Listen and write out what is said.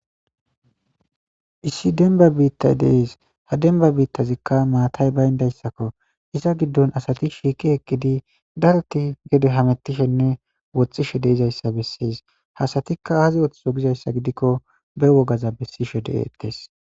Issi denba biittay dees ha denba biittazikka maatay bayndayssakko iza giddon asati shiiki eqqidi darti gede hametishenne wothishe deizayssa bessees hasatikka aazi woththizo gizayssa gidikko be wogaza bessishe deetes.